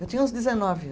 Eu tinha uns dezenove